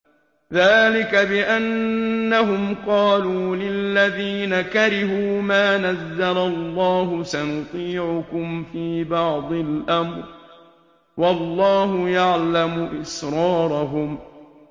ذَٰلِكَ بِأَنَّهُمْ قَالُوا لِلَّذِينَ كَرِهُوا مَا نَزَّلَ اللَّهُ سَنُطِيعُكُمْ فِي بَعْضِ الْأَمْرِ ۖ وَاللَّهُ يَعْلَمُ إِسْرَارَهُمْ